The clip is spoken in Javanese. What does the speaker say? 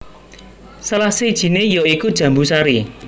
Salah sijiné ya iku jambu sari